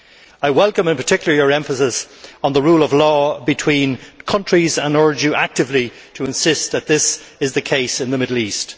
I welcome, in particular, your emphasis on the rule of law between countries and urge you actively to insist that this is the case in the Middle East.